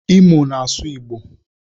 Imo na asụ igbo.